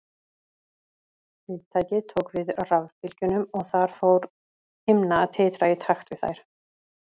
Viðtækið tók við rafbylgjunum og þar fór himna að titra í takt við þær.